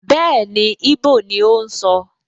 Bẹ́ẹ̀ni, íbò ni ó ń sọ